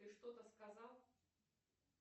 ты что то сказал